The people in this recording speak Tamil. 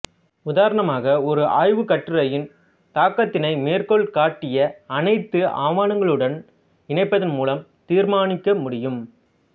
உதாரணமாக ஒரு ஆய்வுக்கட்டுரையின் தாக்கத்தினை மேற்கோள் காட்டிய அனைத்து ஆவணங்களுடனும் இணைப்பதன் மூலம் தீர்மானிக்க முடியும்